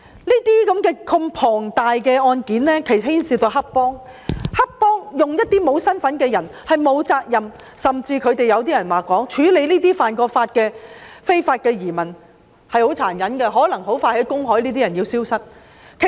如此龐大的案件牽涉到黑幫，他們利用一些沒有身份證、不用負上責任的人士犯案，甚至有人說，黑幫處理這些曾犯法的非法移民很殘忍，這些人可能很快就消失於公海。